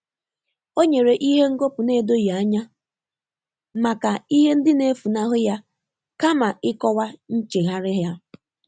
Ọ́ nyèrè ìhè ngọ́pụ́ nà-édóghị́ ányá màkà ìhè ndị́ nà-éfúnáhụ́ yá kámà ị́kọ́wá nchéghárị́ yá.